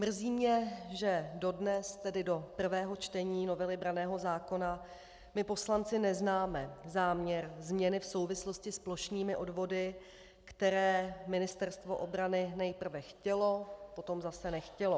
Mrzí mě, že dodnes, tedy do prvého čtení novely branného zákona, my poslanci neznáme záměr změny v souvislosti s plošnými odvody, které Ministerstvo obrany nejprve chtělo, potom zase nechtělo.